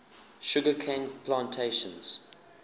sugar cane plantations